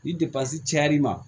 Ni cayar'i ma